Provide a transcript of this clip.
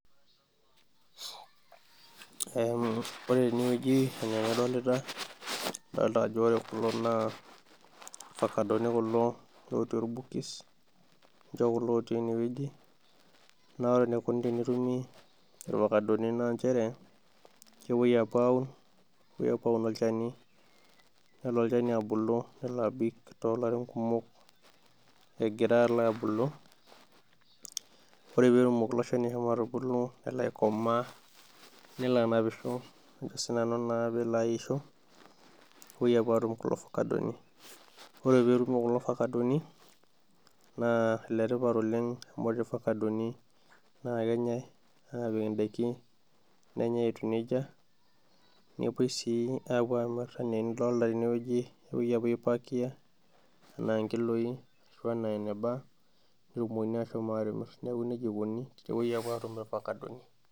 Ore tenewoji enaa enadolita, adoolta tenewoji ajo ore kulo naa ilvakadoni kulo lotii olbokis, ninje kulo otii enewoji naa ore enikoni tenetumi ilvakadoni naanjere kepoi apuo aaun, kepoi aaun olchani nelo olchani abulu, nelo abik toolarin kumok egira alo aabulu, ore peetumoki ilo shani atubulu nelo aikomaa nelo anapisho, ajo naa sinanu peelo aisho, nepoi apuo aatum kulo vakadoni. Ore peetum kulo vakadoni, naa iletipat amu ore vakadoni naa kenyai aapik indaiki, nenyai etiu nejia, nepoi sii apuo aamir enaa enidolita tenewoji, nepoi apuo aipakia enaa inkiloii ashu enaa eneba netumoki ashom atimir. Neeku nejia eikoni peepoi apuo aatum ilvakadoni.